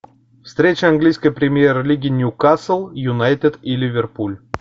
встреча английской премьер лиги нью касл юнайтед и ливерпуль